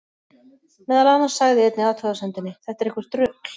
Meðal annars sagði í einni athugasemdinni: Þetta er eitthvert rugl.